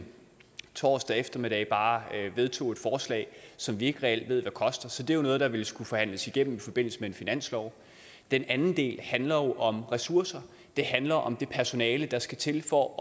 torsdag eftermiddag bare vedtog et forslag som vi ikke reelt ved hvad koster så det er noget der vil skulle forhandles igennem i forbindelse med en finanslov den anden del handler om ressourcer den handler om det personale der skal til for at